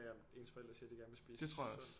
Om ens forældre siger at de gerne vil spise sundt